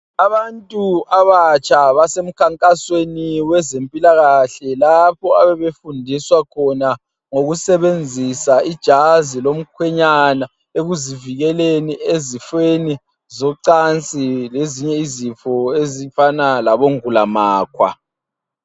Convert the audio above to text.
Abantu abatsha basemkhankasweni wezempilakahle lapha abayabe befundiswa khona ngokusebenzisa ijazilomkhwenyana ekuzivikeleni ezifweni zocansi lezinye izifo ezifana labongulamakhwa.